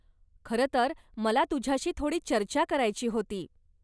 खरं तर, मला तुझ्याशी थोडी चर्चा करायची होती.